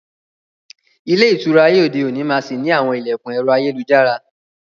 Ilé ìtura ayé òde òní máa sì ni àwọn ilẹkun ẹ̀rọ ayélujára.